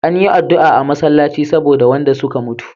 Anyi adua a masallaci saboda wanda suka mutu